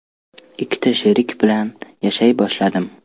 Ikkita sherik bilan yashay boshladim.